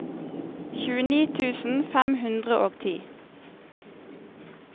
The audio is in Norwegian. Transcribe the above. tjueni tusen fem hundre og ti